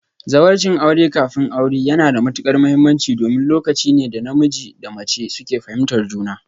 Zawarcin aure kafin aure yana da matuƙar mahimmanci domin lokaci ne da namiji da mace suke fahimtar juna